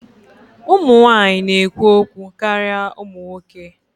Ụmụ nwanyị na-ekwu okwu karịa ụmụ nwoke